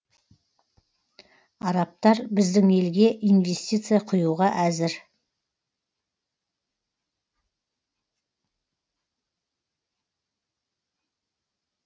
арабтар біздің елге инвестиция құюға әзір